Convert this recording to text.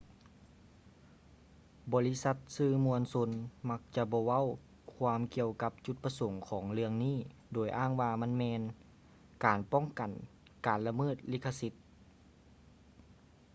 ບໍລິສັດສື່ມວນຊົນມັກຈະບໍ່ເວົ້າຄວາມກ່ຽວກັບຈຸດປະສົງຂອງເລື່ອງນີ້ໂດຍອ້າງວ່າມັນແມ່ນ ການປ້ອງກັນການລະເມີດລິຂະສິດ